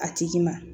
A tigi ma